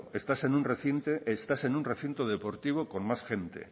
estás en un recinto deportivo con más gente